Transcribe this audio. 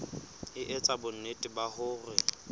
e etsa bonnete ba hore